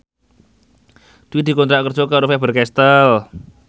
Dwi dikontrak kerja karo Faber Castel